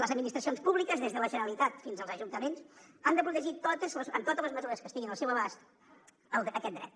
les administracions públiques des de la generalitat fins als ajuntaments han de protegir amb totes les mesures que estiguin al seu abast aquest dret